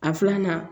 A filanan